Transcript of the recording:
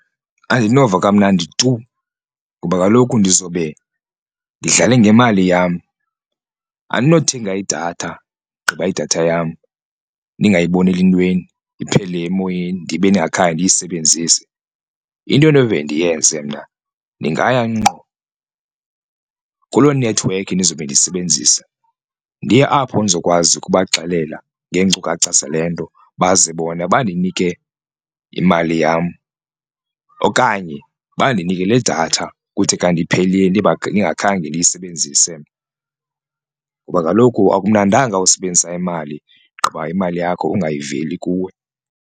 Andinova kamnandi tu ngoba kaloku ndizobe ndidlale ngemali yam andinothenga idatha ugqiba idatha yam ndingayiboneli ntweni iphele emoyeni ndibe ndingakhange ndiyisebenzise. Into endinoze ndiyenze mna ndingaya ngqo kuloo nethiwekhi ndizobe ndiyisebenzisa ndiye apho ndizokwazi ukubaxelela ngeenkcukacha zale nto baze bona bandinike imali yam okanye bandinike le datha kuthi kanti iphelile ndingakhange ndiyisebenzise mna. Ngoba kaloku akumnandanga usebenzisa imali gqiba imali yakho ungayiveli kuwe.